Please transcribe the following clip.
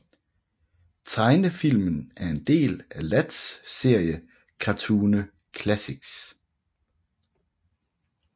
Tegnefilmen er en del af Latz serie Cartune Classics